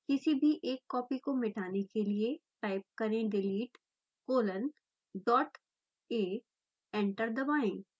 किसी भी एक कॉपी को मिटाने के लिए टाइप करें delete colon dot a enter दबाएँ